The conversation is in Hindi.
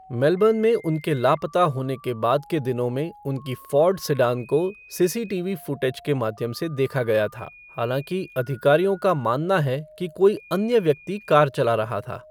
मेलबर्न में उनके लापता होने के बाद के दिनों में उनकी फ़ोर्ड सेडान को सीसीटीवी फ़ुटेज के माध्यम से देखा गया था, हालाँकि अधिकारियों का मानना है कि कोई अन्य व्यक्ति कार चला रहा था।